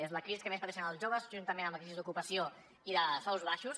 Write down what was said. és la crisi que més pateixen els joves juntament amb la crisi d’ocupació i de sous baixos